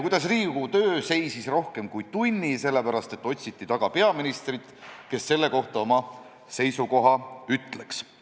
Riigikogu töö seisis rohkem kui tunni sellepärast, et otsiti taga peaministrit, kes selle kohta oma seisukoha ütleks.